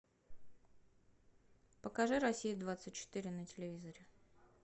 покажи россия двадцать четыре на телевизоре